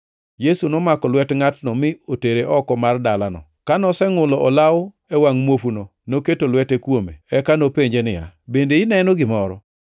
Yesu nomako lwet ngʼatno mi otere oko mar dalano. Ka nosengʼulo olawo e wangʼ muofuno noketo lwete kuome, eka nopenje niya, “Bende ineno gimoro?”